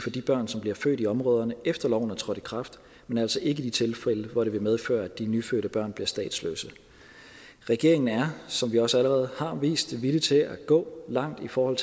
de børn som bliver født i områderne efter loven er trådt i kraft men altså ikke i de tilfælde hvor det vil medføre at de nyfødte børn bliver statsløse regeringen er som vi også allerede har vist villig til at gå langt i forhold